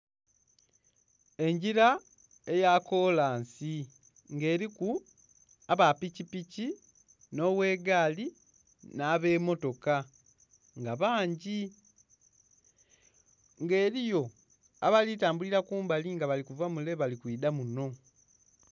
Engila eya kolansi, ng'eliku aba pikipiki, nhi ogh'egaali nh'abemmotoka nga bangi. Nga eliyo abali tambulila kumbali nga bali kuva mule bali kwidha muno.